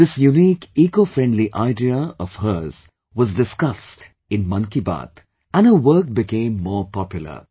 This unique ecofriendly idea of her was discussed in 'Mann Ki Baat' and her work became more popular